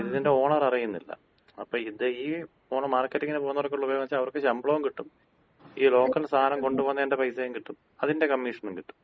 ഇത് ഇതിന്‍റെ ഓണർ അറിയുന്നില്ല. അപ്പോ ഇത് ഈ പോണ മാർക്കറ്റിങ്ങിന് പോകുന്നോര്‍ക്കുള്ള ഉപയോഗംന്ന് വച്ചാ അവർക്ക് ശമ്പളോം കിട്ടും, ഈ ലോക്കൽ സാധനം കൊണ്ടുപോകുന്നതിന്‍റെ പൈസേം കിട്ടും, അതിന്‍റെ കമ്മീഷനും കിട്ടും.